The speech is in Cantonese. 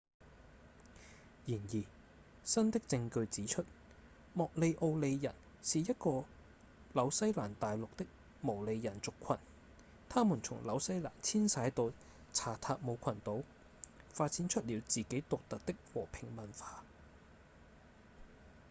然而新的證據指出莫里奧里人是一個紐西蘭大陸的毛利人族群他們從紐西蘭遷徙到查塔姆群島發展出了自己獨特的和平文化